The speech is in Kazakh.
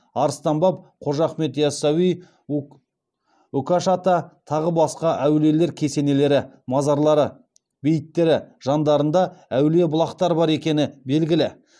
арыстан баб қожа ахмет ясауи үкаш ата тағы басқа әулиелер кесенелері мазарлары бейіттері жандарында әулие бұлақтар бар екені белгілі